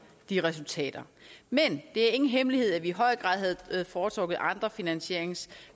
de resultater men det er ingen hemmelighed at vi i høj grad havde foretrukket andre finansieringskilder